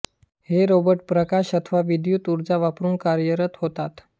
हे रोबोट प्रकाश अथवा विद्दूत उर्जा वापरुन कार्यरत होतात